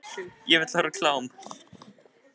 Ugla, kveiktu á sjónvarpinu.